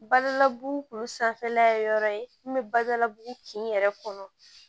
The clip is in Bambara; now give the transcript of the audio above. Badalabugu kun sanfɛla ye yɔrɔ ye min bɛ balabu kin yɛrɛ kɔnɔ